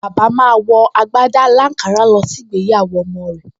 Bàbá máa wọ agbádá aláǹkárá lọ sí ìgbéyàwó ọmọ rẹ̀